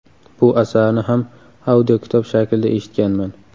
Bu asarni ham audiokitob shaklida eshitganman.